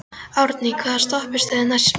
Árný, hvaða stoppistöð er næst mér?